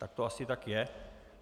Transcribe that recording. Tak to asi tak je.